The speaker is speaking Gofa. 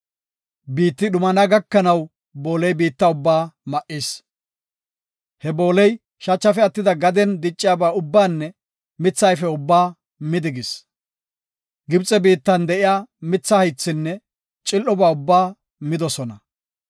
Biitti dhumana gakanaw booley biitta ubbaa ma7is. He booley shachafe attidi gaden dicciyaba ubbaanne mitha ayfe ubbaa midosona. Gibxe biittan de7iya mitha haythinne cil7oba ubbaa midigis.